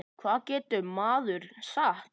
Hvað getur maður sagt?